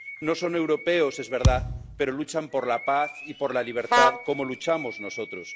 No son europeos, es verdad, pero luchan por la paz y por la libertad como luchamos nosotros.